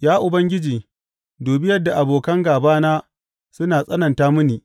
Ya Ubangiji, dubi yadda abokan gābana suna tsananta mini!